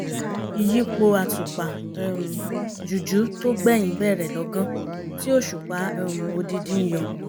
ìyípo àtùpà um jújù tó gbẹ̀yìn bẹ̀rẹ̀ lọ́gán tí òṣùpá um odindi yọ